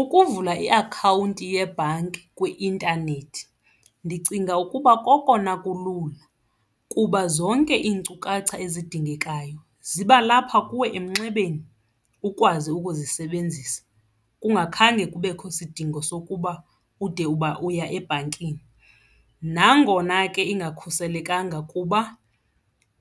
Ukuvula iakhawunti yebhanki kwi-intanethi ndicinga ukuba kokona kulula kuba zonke iinkcukacha ezidingekayo ziba lapha kuwe emnxebeni ukwazi ukuzisebenzisa kungakhange kubekho isidingo sokuba ude uba uya ebhankini. Nangona ke ingakhuselekanga kuba